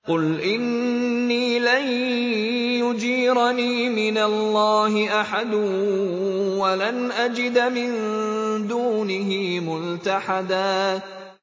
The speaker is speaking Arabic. قُلْ إِنِّي لَن يُجِيرَنِي مِنَ اللَّهِ أَحَدٌ وَلَنْ أَجِدَ مِن دُونِهِ مُلْتَحَدًا